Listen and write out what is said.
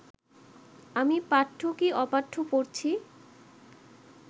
আমি পাঠ্য কি অপাঠ্য পড়ছি